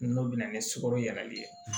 N'o bɛ na ni sukaro yɛlɛli ye